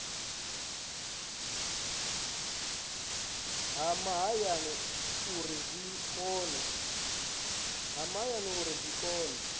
ha mahayani uri zwi kone